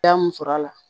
Ya mun sɔrɔ a la